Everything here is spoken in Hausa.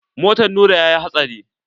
Motan Nura yayi hatsari.